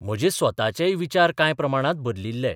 म्हजे स्वताचेय विचार कांय प्रमाणांत बदलिल्ले.